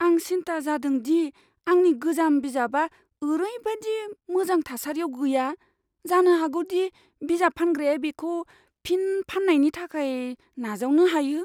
आं सिन्ता जादों दि आंनि गोजाम बिजाबआ ओरैबादि मोजां थासारियाव गैया जानो हागौ दि बिजाब फानग्राया बेखौ फिन फान्नायनि थाखाय नाजावनो हायो।